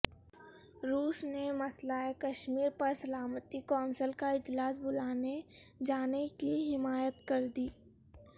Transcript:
روس نے مسئلہ کشمیر پر سلامتی کونسل کا اجلاس بلائے جانےکی حمایت کر دی